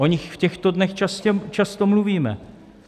O nich v těchto dnech často mluvíme.